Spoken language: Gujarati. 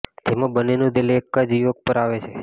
જેમાં બંનેનું દિલ એક જ યુવક પર આવે છે